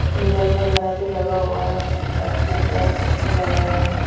Mirror वगैरा भी लगा हुआ है बेडरूम बड़ा अच्छा सजाया हुआ है।